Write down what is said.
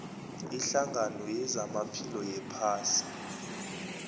ihlangano yezamaphilo yephasi